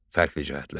Fərqli cəhətlər.